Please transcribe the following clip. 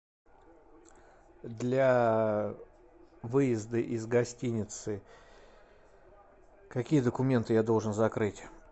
для выезда из гостиницы какие документы я должен закрыть